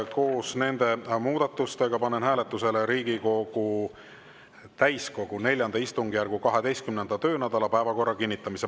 Koos nende muudatustega panen hääletusele Riigikogu täiskogu IV istungjärgu 12. töönädala päevakorra kinnitamise.